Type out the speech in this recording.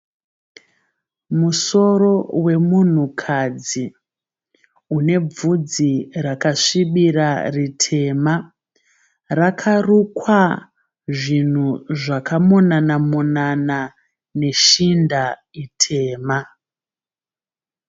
Musoro wemunhukadzi une bvudzi rakasvibira ritema. Rakarukwa zvinhu zvakaomana monana neshinda itema.